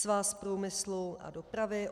Svaz průmyslu a dopravy.